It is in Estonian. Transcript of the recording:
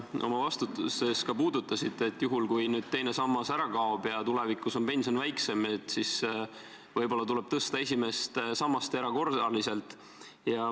Oma vastuses te ütlesite, et kui teine sammas ära kaob ja tulevikus on pension väiksem, siis võib-olla tuleb esimese samba pensioni erakorraliselt tõsta.